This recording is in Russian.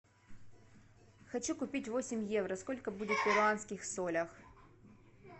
хочу купить восемь евро сколько будет в перуанских солях